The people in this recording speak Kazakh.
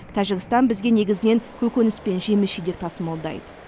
тәжікстан бізге негізінен көкөніс пен жеміс жидек тасымалдайды